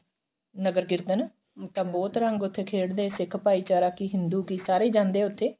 ਨਗਰ ਕੀਰਤਨ ਫੇਰ ਤਾਂ ਬਹੁਤ ਰੰਗ ਉੱਥੇ ਖੇਡਦੇ ਸਿੱਖ ਭਾਈਚਾਰਾ ਕਿ ਹਿੰਦੂ ਕਿ ਸਾਰੇ ਹੀ ਜਾਂਦੇ ਨੇ ਉੱਥੇ